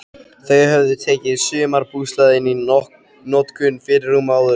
Þau höfðu tekið sumarbústaðinn í notkun fyrir rúmu ári.